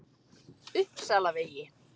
Uppsalavegi